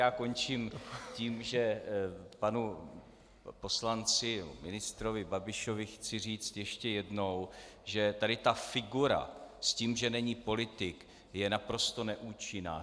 Já končím tím, že panu poslanci, ministrovi Babišovi chci říct ještě jednou, že tady ta figura s tím, že není politik, je naprosto neúčinná.